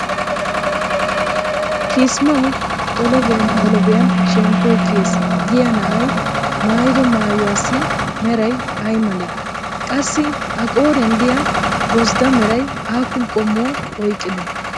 kaasimawu xolobbiyan xolobbiyan shemppoy keyees giya na'ay maayido maayuwassi meray ay malee? qassi a qooriyan diya gozddaa meray aappun qom'uwaa oyqqidee?